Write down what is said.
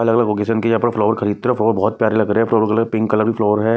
अलग-अलग ओकेजन के यहां पर फ्लावर खरीदते हैं फ्लावर बहोत प्यारे लग रहे हैं पर्पल कलर पिंक कलर के फ्लावर है।